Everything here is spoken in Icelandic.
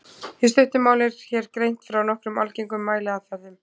Í stuttu máli er hér greint frá nokkrum algengum mæliaðferðum.